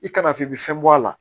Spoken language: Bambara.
I kana f'i bɛ fɛn bɔ a la